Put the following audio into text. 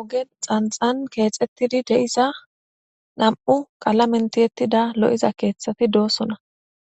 Oge xanxan keexxettidi de'iza nam'u qala mentiyettida lo'iza keeththati doossona